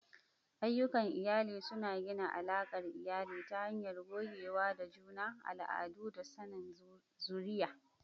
Ayyukan iyali suna gina alakar iyali ta hanyar gogewa da juna, al'adu, da sanin zuriya.